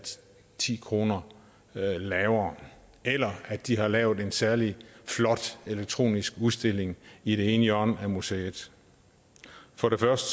ti kroner lavere eller at de har lavet en særlig flot elektronisk udstilling i det ene hjørne af museet for det første